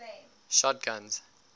shotguns